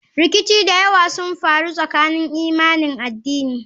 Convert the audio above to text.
Rikici da yawa sun faru tsakanin imanin addini.